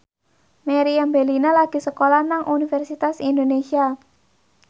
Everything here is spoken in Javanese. Meriam Bellina lagi sekolah nang Universitas Indonesia